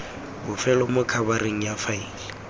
bofelo mo khabareng ya faele